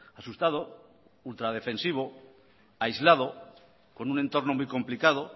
asustado ultradefensivo aislado con un entorno muy complicado